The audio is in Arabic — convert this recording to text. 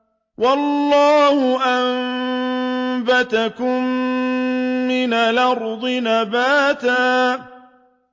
وَاللَّهُ أَنبَتَكُم مِّنَ الْأَرْضِ نَبَاتًا